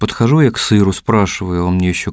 подхожу я к сыру спрашиваю он мне ещё